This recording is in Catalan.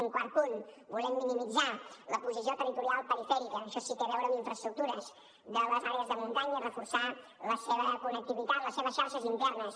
un quart punt volem minimitzar la posició territorial perifèrica això sí que té a veure amb infraestructures de les àrees de muntanya i reforçar la seva connectivitat les seves xarxes internes